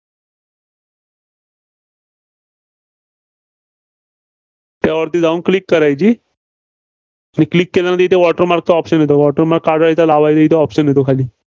त्यावरती जाऊन Click करायची आणि Click केल्यानंतर इथे water mark चा option येतो. water mark काढायचा, लावयाचा इथं option येतो खाली.